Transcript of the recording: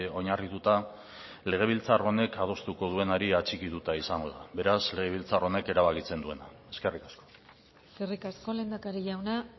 oinarrituta legebiltzar honek adostuko duenari atxikituta izango da beraz legebiltzar honek erabakitzen duena eskerrik asko eskerrik asko lehendakari jauna